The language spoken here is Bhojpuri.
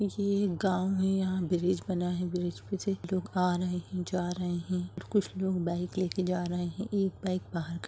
ये एक गांव है यहाँ ब्रिज बना है ब्रिज पे से लोग आ रहे है जा रहे है कुछ लोग बाइक लेके जा रहे है एक बाइक बहार ख --